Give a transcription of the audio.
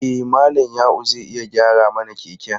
E, Malam Ya'u zai iya gyara mana keken.